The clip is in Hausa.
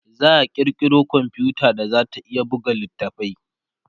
za'a kirkiro komfuta da zata iya buga littafai